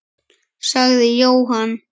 sagði Jóhann.